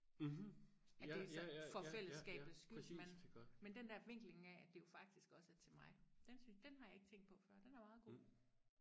at det så for fællesskabets skyld men men den der vinkling af at det faktisk også er til mig den synes den har jeg ikke tænkt på før den er meget god